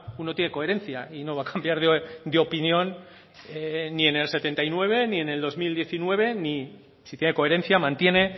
uno tiene coherencia y no va a cambiar de opinión ni en el setenta y nueve ni en el dos mil diecinueve ni si tiene coherencia mantiene